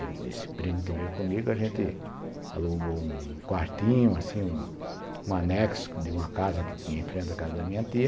Esse primo que veio comigo, a gente alugou um quartinho, assim, um anexo de uma casa que tinha em frente à casa da minha tia.